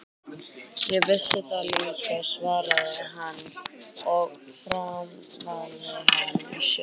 Ég vissi það líka, svaraði hann og faðmaði hana að sér.